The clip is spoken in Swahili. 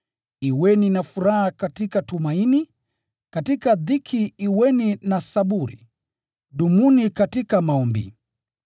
Kuweni na furaha katika tumaini, katika dhiki kuweni na saburi, dumuni katika maombi.